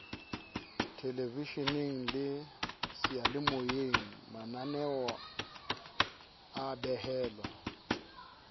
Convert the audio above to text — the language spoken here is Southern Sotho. thelevesheneng le seyalemoyeng mananeoa behelwa